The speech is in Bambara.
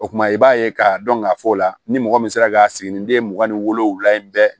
O kumana i b'a ye k'a dɔn k'a fɔ o la ni mɔgɔ min sera ka sigininden mugan ni wolonwula in bɛɛ